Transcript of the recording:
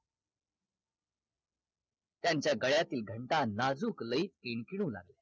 त्यांच्या गळ्यातील घंटा नाजूक लयी किणकिणु लागल्या